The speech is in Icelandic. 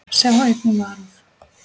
Sjá einnig Varúð.